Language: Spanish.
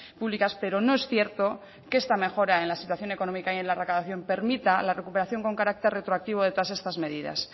públicas pero no es cierto que esta mejora en la situación económica y en la recaudación permita la recuperación con carácter retroactivo de todas estas medidas